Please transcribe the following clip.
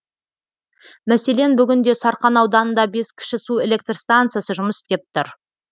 мәселен бүгінде сарқан ауданында бес кіші су электр станциясы жұмыс істеп тұр